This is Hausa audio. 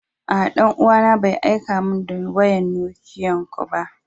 Aa, dan uwa na Bai aika mun da wayan Nokiyan ko ba.